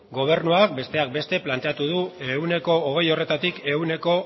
gobernuak besteak beste planteatu du ehuneko hogei horretatik ehuneko